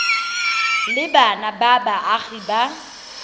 le bana ba baagi ba